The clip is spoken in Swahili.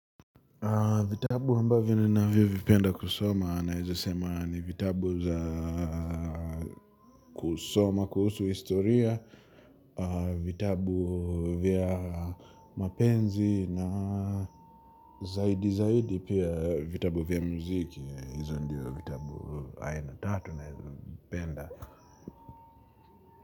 Vitabu ambavyo ninavyo vipenda kusoma naeza sema ni vitabu za kusoma, kuhusu historia, vitabu vya mapenzi na zaidi zaidi pia vitabu vya muziki. Hizo ndio vitabu aina tatu naeza vipenda.